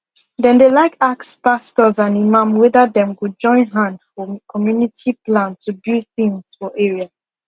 dem de like ask pastors and imam wether dem go join hand for community plan to build things for area